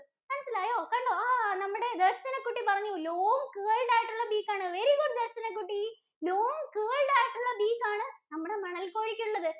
മനസ്സിലായോ? ആഹ് നമ്മുടെ ദര്‍ശനകുട്ടി പറഞ്ഞു long curved ആയിട്ടുള്ള beak ആണ്. Very good ദര്‍ശനകുട്ടി long curved ആയിട്ടുള്ള beak ആണ് നമ്മുടെ മണൽ കോഴിക്കുള്ളത്.